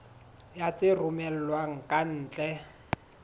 ya tse romellwang ka ntle